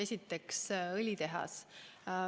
Esiteks, õlitehas.